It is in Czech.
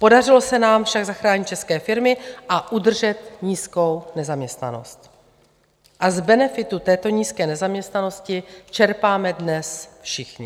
Podařilo se nám však zachránit české firmy a udržet nízkou nezaměstnanost a z benefitu této nízké nezaměstnanosti čerpáme dnes všichni.